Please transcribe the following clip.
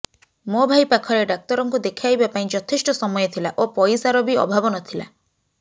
ମୋ ଭାଇ ପାଖରେ ଡାକ୍ତରଙ୍କୁ ଦେଖାଇବା ପାଇଁ ଯଥେଷ୍ଟ ସମୟ ଥିଲା ଓ ପଇସାର ବି ଅଭାବ ନଥିଲା